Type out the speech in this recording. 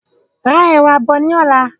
Ra ẹ̀wà bọ̀ ní ọ̀la.